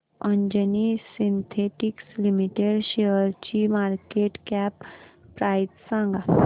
Anjani Synthetics Limited शेअरची market cap price सांगा